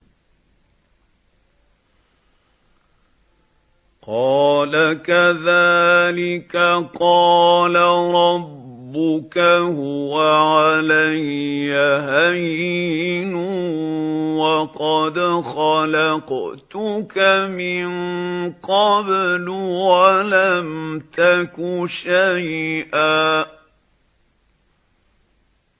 قَالَ كَذَٰلِكَ قَالَ رَبُّكَ هُوَ عَلَيَّ هَيِّنٌ وَقَدْ خَلَقْتُكَ مِن قَبْلُ وَلَمْ تَكُ شَيْئًا